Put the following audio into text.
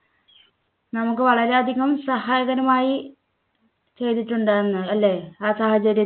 നമുക്ക് വളരെയധികം സഹായകരമായ ചെയ്തിട്ടുണ്ടായിരുന്നു. അല്ലേ? ആ സാഹചര്യ